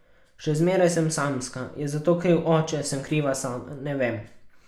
Še zmeraj sem samska, je za to kriv oče, sem kriva sama, ne vem.